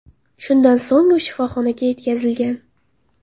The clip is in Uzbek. Shundan so‘ng u shifoxonaga yetkazilgan.